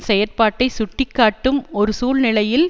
செயற்பாட்டை சுட்டிக்காட்டும் ஒரு சூழ்நிலையில்